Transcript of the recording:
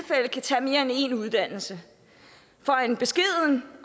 i en uddannelse for en beskeden